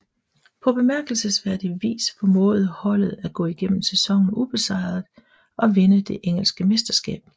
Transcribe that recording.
På bemærkelsesværdig vis formåede holdet at gå igennem sæsonen ubesejret og vinde det engelske mesterskab